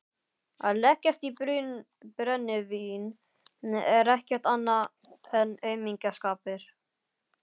Að leggjast í brennivín er ekkert annað en aumingjaskapur.